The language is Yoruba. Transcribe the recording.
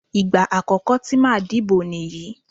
Ìgbà àkọ́kọ́ tí màá dìbò nìyí.